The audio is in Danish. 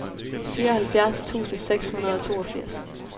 fireoghalvfjerds tusind seks hundrede og toogfirs